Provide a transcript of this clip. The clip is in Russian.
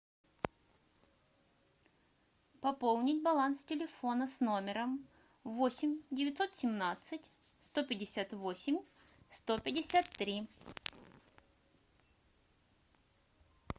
пополнить баланс телефона с номером восемь девятьсот семнадцать сто пятьдесят восемь сто пятьдесят три